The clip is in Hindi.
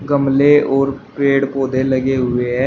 गमले और पेड़ पौधे लगे हुए हैं।